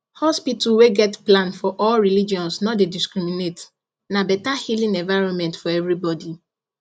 hospital wey get plan for all religions no dey discriminate na better healing environment for everybody